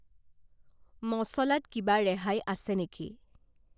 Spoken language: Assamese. মচলাত কিবা ৰেহাই আছে নেকি?